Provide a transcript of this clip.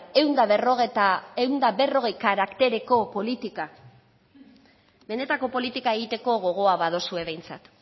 ehun eta berrogei karaktereko politikak benetako politika egiteko gogoa badaukazue behintzat